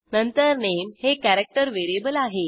नंतर नामे हे character variable आहे